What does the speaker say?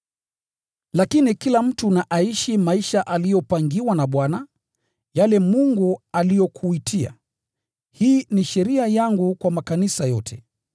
Lakini kila mtu na aishi maisha aliyopangiwa na Bwana, yale Mungu aliyomwitia. Hii ni sheria ninayoiweka kwa makanisa yote.